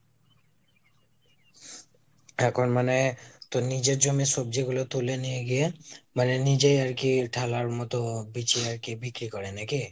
এখন মানে তোর নিজের জমির সবজিগুলো তুলে নিয়ে গিয়ে মানে নিজে আর কি ঢালার মতো পিছনে গিয়ে বিক্রি করে নাকি?